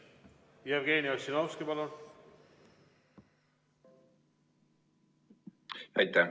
Jevgeni Ossinovski, palun!